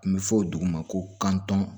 N bɛ fɔ dugu ma ko kantɔn